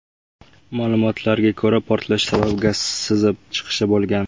Ma’lumotlarga ko‘ra, portlash sababi gaz sizib chiqishi bo‘lgan.